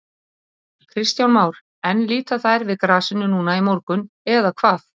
Kristján Már: En líta þær við grasinu núna í morgun eða hvað?